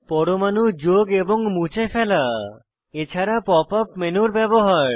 পরমাণু যোগ এবং মুছে ফেলা এছাড়া pop ইউপি মেনুর ব্যবহার